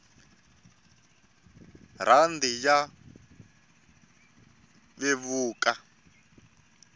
rhandi ya vevuka